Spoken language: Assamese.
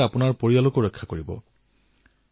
নিজক বচাওক আৰু পৰিয়ালকো বচাওক